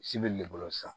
Si bɛ le bolo san